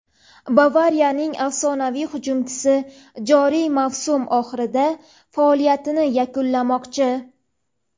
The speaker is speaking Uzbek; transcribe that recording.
"Bavariya"ning afsonaviy hujumchisi joriy mavsum oxirida faoliyatini yakunlamoqchi;.